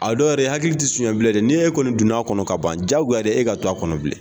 A dɔw yɛrɛ i hakili sonya bilen dɛ n'e kɔni donna a kɔnɔ ka ban jagoya de ye e ka to a kɔnɔ bilen.